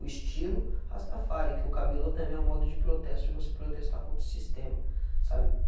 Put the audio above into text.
O estilo Rastafari, que o cabelo também é um modo de protesto, de você protestar contra o sistema, sabe?